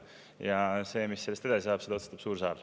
Mis sellest edasi saab, seda otsustab suur saal.